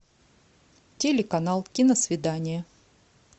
телеканал киносвидания